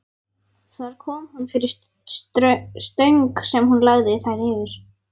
Þar kom hún fyrir stöng sem hún lagði þær yfir.